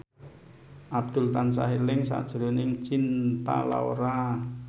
Abdul tansah eling sakjroning Cinta Laura